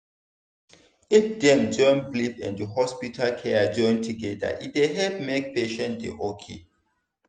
if dem join belief and hospital care join together e dey help make patient dey ok.